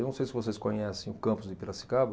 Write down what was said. Eu não sei se vocês conhecem o campus de Piracicaba,